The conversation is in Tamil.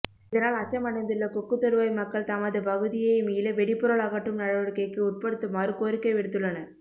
இதனால் அச்சமடைந்துள்ளகொக்குத்தொடுவாய் மக்கள் தமது பகுதியை மீள வெடிபொருள் அகற்றும் நடவடிக்கைக்கு உட்படுத்துமாறுகோரிக்கை விடுத்துள்ளனர்